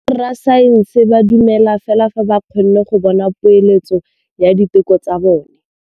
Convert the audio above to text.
Borra saense ba dumela fela fa ba kgonne go bona poeletsô ya diteko tsa bone.